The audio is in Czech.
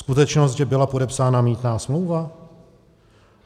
Skutečnost, že byla podepsána mýtná smlouva?